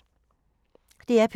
DR P2